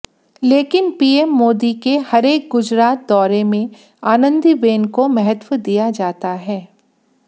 लेकिन पीएम मोदी के हरेक गुजरात दौरे में आनंदीबेन को महत्व दिया जाता है